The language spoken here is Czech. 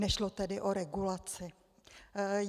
Nešlo tedy o regulaci.